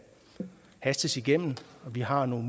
hastes igennem vi har nogle